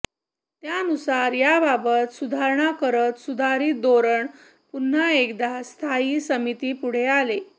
त्यानुसार याबाबत सुधारणा करत सुधारीत धोरण पुन्हा एकदा स्थायी समितीपुढे आले